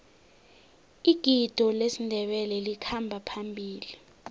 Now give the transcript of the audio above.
igido lesindebele likhamba phambili